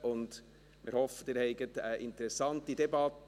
Wir hoffen, Sie erleben eine interessante Debatte.